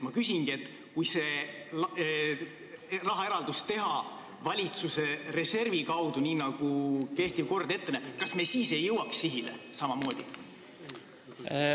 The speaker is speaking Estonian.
Ma küsingi: kui see rahaeraldus teha valitsuse reservfondi kaudu, nii nagu kehtiv kord ette näeb, kas me siis ei jõuaks samamoodi sihile?